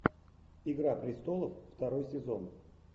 игра престолов второй сезон